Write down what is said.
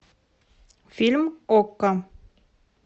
фильм окко